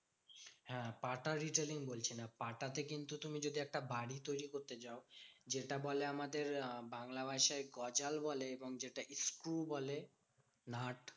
হ্যাঁ পাটা retailing বলছি না। পাটাতে কিন্তু তুমি যদি একটা বাড়ি তৈরী করতে যাও। যেটা বলে আমাদের আহ বাংলা ভাষায় গজাল বলে এবং যেটা স্ক্রু বলে। নাট